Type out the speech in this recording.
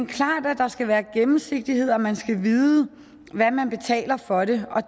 klart at der skal være gennemsigtighed og man skal vide hvad man betaler for det